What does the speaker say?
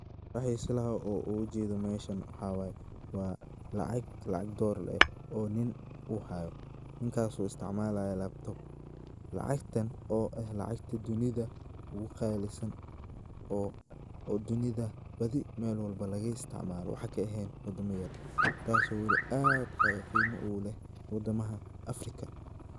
Waxan isleyahay meshan oo an uu jeda mesha waxa waye waa lacag Dolaar eh oo nin u hayo, Ninkaso isticmalayo Laptop. Lacagtan o eh lacagta dunida ugu qalisan o dunida badi mel kasto laga isticmalo waxa kaehen wadamo yar, taso wali aad qimo ugu leh wadamaha Afrikaa.